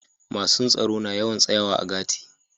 Masun tsaro na yawan tsayawa a gati'.